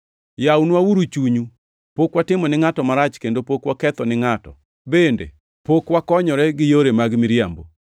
Yawnwauru chunyu. Pok watimo ni ngʼato marach kendo pok waketho ni ngʼato, bende pok wakonyore gi yore mag miriambo.